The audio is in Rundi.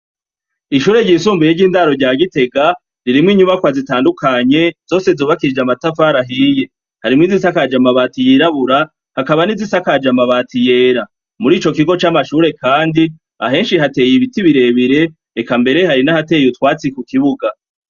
Ishure ryisumbuye ry'indaro rya Gitega, ririmwo inyubakwa zitandukanye, zose zubakishije amatafari ahiye. Harimwo izisakaje amabati yirabura, hakaba n'izisakaje amabati yera. Muri ico kigo c'amashure kandi, ahenshi hateye ibiti birebire eka mbere hari n'ahateye utwatsi ku kibuga.